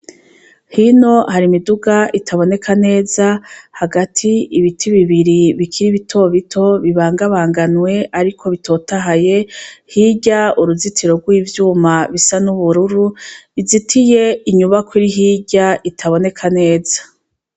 Hino hari imiduga itaboneka neza hagati ibiti bibiri bikira ibitobito bibangabanganwe, ariko bitotahaye hirya uruzitiro rw'ivyuma bisa n'ubururu izitiye inyuba kuri hirya itaboneka neza.